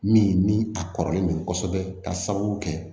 Min ni a kɔrɔlen don kosɛbɛ ka sababu kɛ